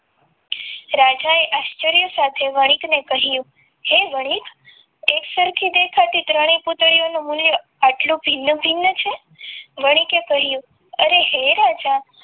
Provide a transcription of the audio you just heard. રાજાએ આશ્ચર્ય સાથે વણિકને કહ્યું હે વણિક એકસરખી દેખાતી ત્રણેય પુતળીઓનું મૂલ્ય આટલું ભિન્ન ભિન્ન છે વણી કે કહ્યું અરે હે રાજા